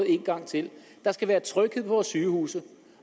en gang til der skal være tryghed på vores sygehuse